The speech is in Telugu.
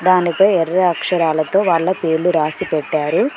దాని పై ఎర్ర అక్షరాలతో వాళ్ళ పేర్లు రాసి పెట్టారు.